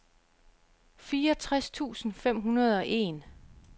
fireogtres tusind fem hundrede og en